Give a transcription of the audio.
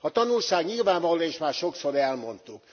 A tanulság nyilvánvaló, és már sokszor elmondtuk.